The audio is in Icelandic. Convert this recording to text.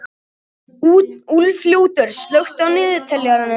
Úlfljótur, slökktu á niðurteljaranum.